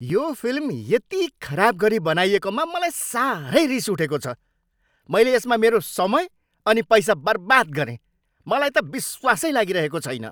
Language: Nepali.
यो फिल्म यति खराब गरी बनाइएकोमा मलाई साह्रै रिस उठेको छ। मैले यसमा मेरो समय अनि पैसा बर्बाद गरेँ, मलाई त विश्वासै लागिरहेको छैन।